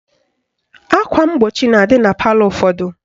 Akwa mgbochi na-adị na palọ ụfọdụ